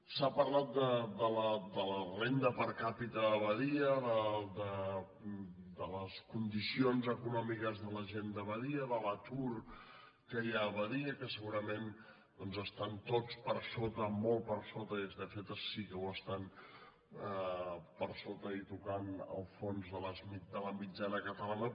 s’ha parlat de la renda per capita de badia de les condicions econòmiques de la gent de badia de l’atur que hi ha a badia que segurament doncs estan tots per sota molt per sota i de fet sí que ho estan per sota i tocant ne el fons de la mitjana catalana